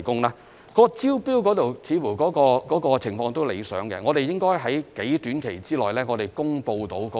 至於招標方面，情況似乎理想，我們應該能夠在短期內公布結果。